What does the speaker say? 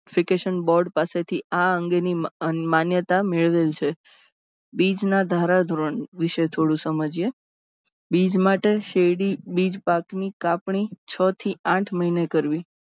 vacation Board પાસેથી આ અંગેની માન્યતા મેળવેલ છે. બીજના ધારા ધોરણ વિશે થોડું સમજીએ બીજ માટે શેરડી બીજ પાકની કાપણી છ થી આઠ મહિને કરવી.